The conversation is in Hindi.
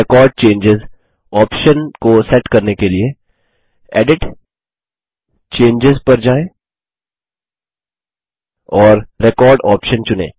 रेकॉर्ड चेंजों ऑप्शन को सेट करने के लिए एडिट → चेंजों पर जाएँ और रेकॉर्ड ऑप्शन चुनें